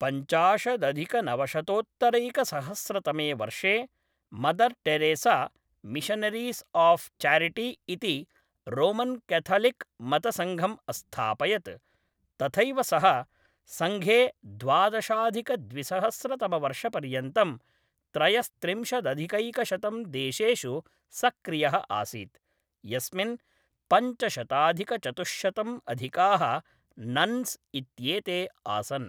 पञ्चाशदधिकनवशतोत्तरैकसहस्रतमे वर्षे Mother Teresa Missionaries of Charity इति रोमन्क्याथलिक्मतसङ्घम् अस्थापयत्, तथैव सः सङ्घे द्वादशाधिकद्विसहस्रतमवर्षपर्यन्तं त्रयस्त्रिंशदधिकैकशतं देशेषु सक्रियः आसीत्, यस्मिन् पञ्चशताधिकचतुश्शतम् अधिकाः नन्स् इत्येते आसन्।